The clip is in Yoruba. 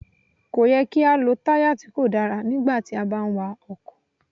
Kò yẹ kí á lọ táyà tí kò dára nígbà tí a bá ń wa àwọn ọkọ̀.